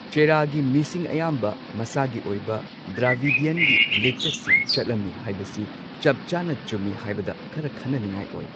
ꯆꯦꯔꯥꯒꯤ ꯃꯤꯁꯤꯡ ꯑꯌꯥꯝꯕ ꯃꯁꯥꯒꯤ ꯑꯣꯏꯕ ꯗ꯭ꯔꯥꯕꯤꯗ꯭ꯌꯟꯒꯤ ꯂꯤꯆꯠꯁꯤꯡ ꯆꯠꯂꯝꯃꯤ ꯍꯥꯏꯕꯁꯤ ꯆꯞ ꯆꯥꯟꯅ ꯆꯨꯝꯝꯤ ꯍꯥꯏꯕꯗ ꯈꯔ ꯈꯟꯅꯅꯤꯡꯉꯥꯏ ꯑꯣꯏ꯫